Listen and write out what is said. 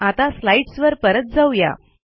आता स्लाईडस वर परत जाऊ या